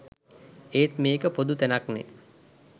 ඒත් මේක පොදු තැනක්නෙ.